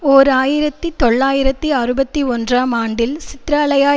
ஓர் ஆயிரத்தி தொள்ளாயிரத்தி அறுபத்தி ஒன்றாம் ஆண்டில் சித்திரலாயா